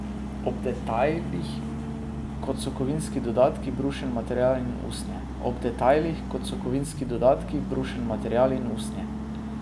Ob detajlih, kot so kovinski dodatki, brušen material in usnje.